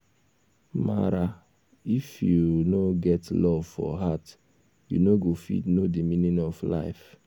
mara if you no get love for heart u no go fit know de meaning of life